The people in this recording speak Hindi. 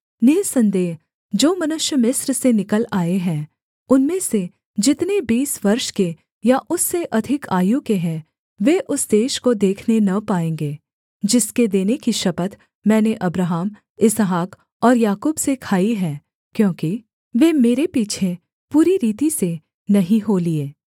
निःसन्देह जो मनुष्य मिस्र से निकल आए हैं उनमें से जितने बीस वर्ष के या उससे अधिक आयु के हैं वे उस देश को देखने न पाएँगे जिसके देने की शपथ मैंने अब्राहम इसहाक और याकूब से खाई है क्योंकि वे मेरे पीछे पूरी रीति से नहीं हो लिये